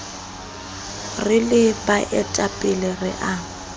re le baetapele re a